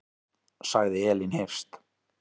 Sagði Elín Hirst.